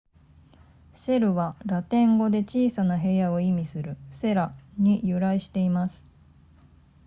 セルはラテン語で小さな部屋を意味する cella に由来しています